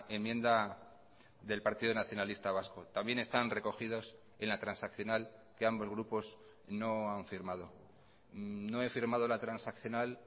enmienda del partido nacionalista vasco también están recogidos en la transaccional que ambos grupos no han firmado no he firmado la transaccional